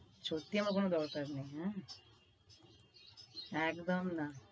সত্যি আমার কোনো দরকার নেই, হ্যাঁ? একদম না।